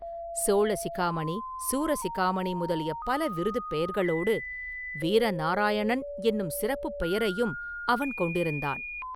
சோழ சிகாமணி, சூரசிகாமணி முதலிய பல விருதுப் பெயர்களோடு வீரநாராயணன் என்னும் சிறப்புப் பெயரையும் அவன் கொண்டிருந்தான்.